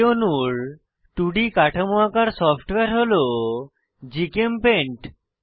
এই অণুর 2ডি কাঠামো আঁকার সফ্টওয়্যার হল জিচেমপেইন্ট